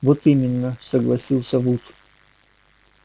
вот именно согласился вуд